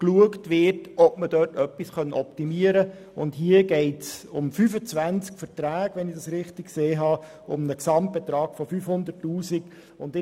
Wenn ich mich richtig erinnere, geht es hier um 25 Verträge, um einen Gesamtbetrag in der Höhe von 500 000 Franken.